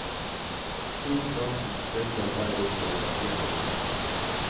Sil kraften, tilsett eddik og la den koke opp.